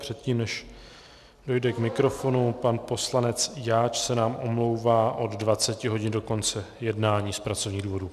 Předtím než dojde k mikrofonu, pan poslanec Jáč se nám omlouvá od 20 hodin do konce jednání z pracovních důvodů.